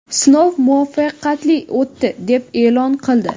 sinov muvaffaqiyatli o‘tdi deb e’lon qildi.